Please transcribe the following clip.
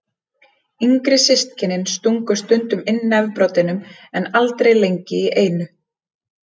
Yngri systkinin stungu stundum inn nefbroddinum en aldrei lengi í einu.